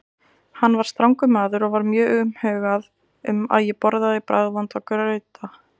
Hann var strangur maður og var mjög umhugað um að ég borðaði bragðvonda grauta.